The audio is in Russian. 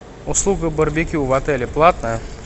услуга барбекю в отеле платная